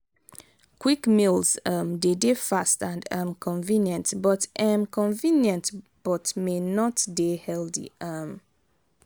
quick meals um de dey fast and um convenient but um convenient but may not dey healthy um